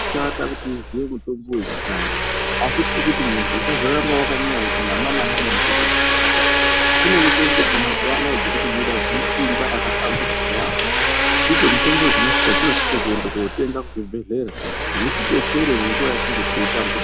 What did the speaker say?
Azvina kushata kuti munthu uziye mutombo wechikare , asi tiri kuti munthu usazoramba wakanyanya kuti nama-nama nemitombo yekaretu kune mitombo iri kubuda mazuwa ana ine simba rakahlamburuka yaambho, ndidzo mitombo dzatinosise kuende kootenga kuzvibhedhlera dzitidetsere munguwa yekunge teitambudzi..